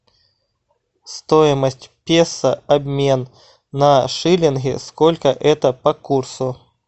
стоимость песо обмен на шиллинги сколько это по курсу